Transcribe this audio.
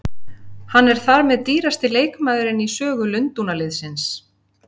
Hann er þar með dýrasti leikmaðurinn í sögu Lundúnarliðsins.